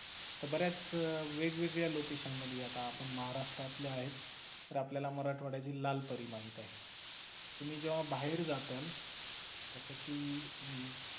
बऱ्याच वेगवेगळ्या location मध्ये आता आपण महाराष्ट्रातल्या आहेत तर आपल्याला मराठवाड्यातील लाल परी माहित आहे तुम्ही जेंव्हा बाहेर जाचाल जस कि